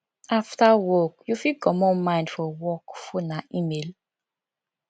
after work you fit comot mind for work phone and email